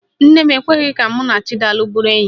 Nne m ekweghi ka mụ na Chidalụ bụrụ enyi.